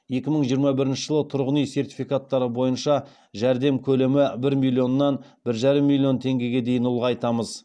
екі мың жиырма бірінші жылы тұрғын үй сертификаттары бойынша жәрдем көлемі бір миллионнан бір жарым миллион теңгеге дейін ұлғайтамыз